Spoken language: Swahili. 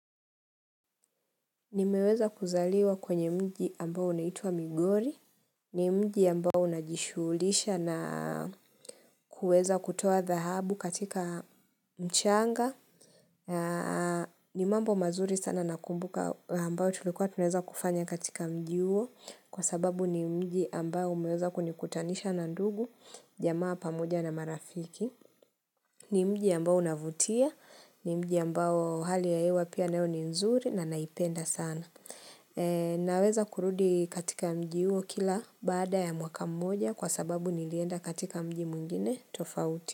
Nimeweza kuzaliwa kwenye mji ambao unaitwa Migori. Ni mji ambao unajishughulisha na kuweza kutoa dhahabu katika mchanga. Ni mambo mazuri sana nakumbuka ambao tulikuwa tunaeza kufanya katika mji uo. Kwa sababu ni mji ambao umeweza kunikutanisha na ndugu, jamaa pamoja na marafiki. Ni mji ambao unavutia. Ni mji ambao hali ya hewa ni nzuri na naipenda sana. Naweza kurudi katika mji uo kila baada ya mwaka mmoja kwa sababu nilienda katika mji mwingine tofauti.